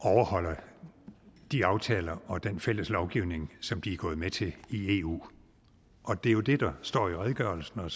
overholder de aftaler og den fælles lovgivning som de er gået med til i eu det er jo det der står i redegørelsen og